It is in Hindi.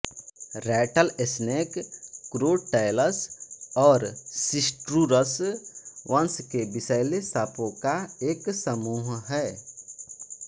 रैटलस्नेक क्रोटैलस और सिस्ट्रूरस वंश के विषैले साँपों का एक समूह है